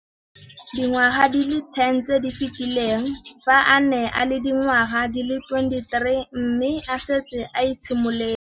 Dingwaga di le 10 tse di fetileng, fa a ne a le dingwaga di le 23 mme a setse a itshimoletse